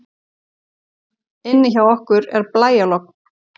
Inni hjá okkur er blæjalogn.